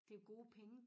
Det jo gode penge